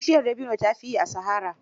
Bishiyar dabino ta fi yi a sahara.